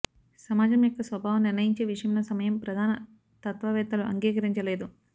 సమాజం యొక్క స్వభావం నిర్ణయించే విషయంలో సమయం ప్రధాన తత్వవేత్తలు అంగీకరించలేదు